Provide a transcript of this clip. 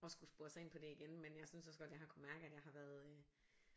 Og skulle spore sig ind på det igen men synes også godt at jeg har kunne mærke at jeg har været øh